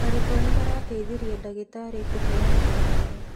Arutwo nĩ marateithirie ndagitarĩ kũheana ndawa.